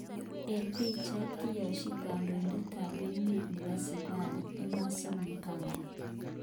Eng pichait, Kiyasichi kandoitet ap emet nepo Zimbabwe Emmerson mnangagwa.